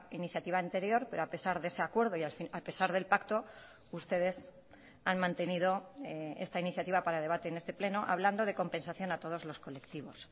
iniciativa anterior pero a pesar de ese acuerdo y a pesar del pacto ustedes han mantenido esta iniciativa para debate en este pleno hablando de compensación a todos los colectivos